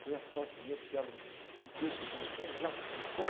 Foi a sorte minha, porque era um, um texto do Jean-Jacques Rousseau.